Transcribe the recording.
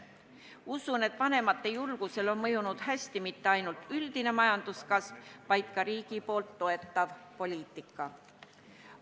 Usun, et vanemate julgusele on mõjunud hästi mitte ainult üldine majanduskasv, vaid ka riigi toetav poliitika.